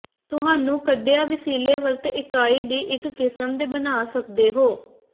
ਤੁਹਾਨੂੰ ਕੱਢਿਆ ਵਸੀਲੇ ਵਰਤ ਇਕਾਈ ਦੀ ਇੱਕ ਕਿਸਮ ਦੇ ਬਣਾ ਸਕਦੇ ਹੋ